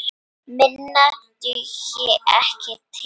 Minna dugði ekki til.